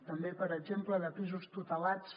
també per exemple de pisos tutelats